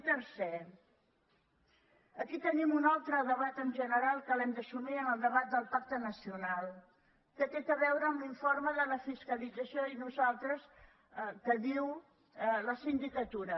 i tercer aquí tenim un altre debat en general que l’hem d’assumir en el debat del pacte nacional que té a veure amb l’informe de la fiscalització que diu la sin·dicatura